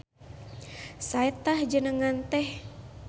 Sae tah jenengan teh.